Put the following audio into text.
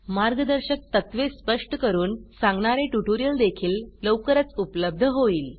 मार्गदर्शक तत्त्वे स्पष्ट करून सांगणारे ट्यूटोरियल देखील लवकरच उपलब्ध होईल